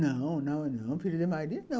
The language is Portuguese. Não, não, não. filhas de Maria não.